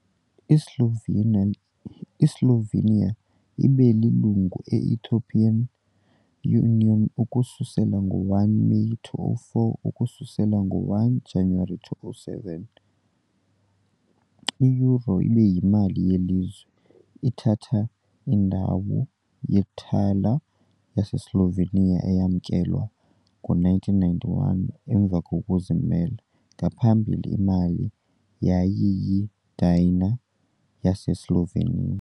I-Slovenia I-Slovenia ibe lilungu le - Ethiopian Union ukususela ngo-1 Meyi 2004, ukususela ngo-1 kaJanuwari 2007, i- euro ibe yimali yelizwe, ithatha indawo ye-thaler yaseSlovenia, eyamkelwa ngo -1991 emva kokuzimela, Ngaphambili imali yayiyidinar yaseSlovenia.